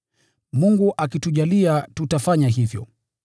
Mungu akitujalia tutafanya hivyo.